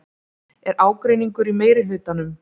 Er ágreiningur í meirihlutanum?